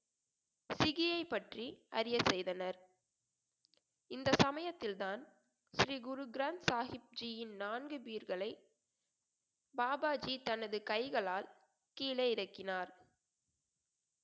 சிகியைப் பற்றி அறிய செய்தனர் இந்த சமயத்தில்தான் ஸ்ரீ குருகிராம் சாஹிப்ஜியின் நான்கு பீர்களை பாபாஜி தனது கைகளால் கீழே இறக்கினார்